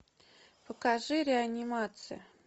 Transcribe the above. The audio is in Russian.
покажи реанимация